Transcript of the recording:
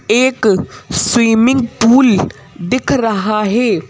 एक swimming pool दिख रहा है।